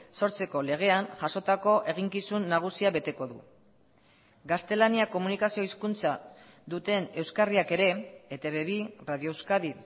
sortzeko legean jasotako eginkizun nagusia beteko du gaztelania komunikazio hizkuntza duten euskarriak ere etb bi radio euskadi